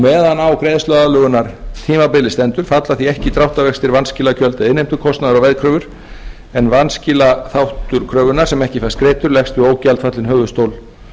meðan á greiðsluaðlögunartímabili stendur falla því ekki dráttarvextir vanskilagjöld innheimtukostnaðar á veðkröfur en vanskilaþáttur kröfunnar sem ekki fæst greiddur leggst á ógjaldfallinn höfuðstól